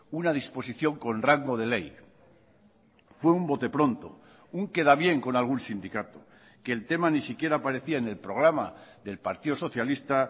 una disposición con rango de ley fue un bote pronto un queda bien con algún sindicato que el tema ni siquiera aparecía en el programa del partido socialista